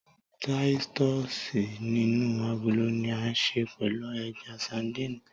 Táítọ̀sì inú agolo ni a ṣe pẹ̀lú ẹja sandínì